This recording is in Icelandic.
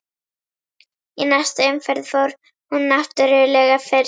Í næstu umferð fór hún náttúrlega fyrst.